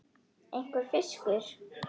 einhver fiskur.